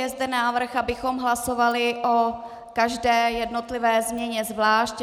Je zde návrh, abychom hlasovali o každé jednotlivé změně zvlášť.